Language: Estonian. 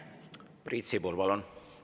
Priit Sibul, palun!